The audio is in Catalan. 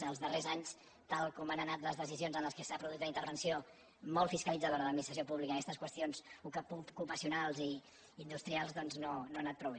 als darrers anys tal com han anat les decisions en què s’ha produït la intervenció molt fiscalitzadora de l’administració pública en aquestes qüestions ocupacionals i industrials doncs no ha anat prou bé